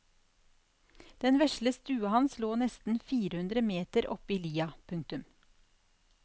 Den vesle stua hans lå nesten fire hundre meter oppe i lia. punktum